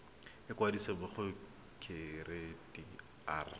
ikwadisa mo go kereite r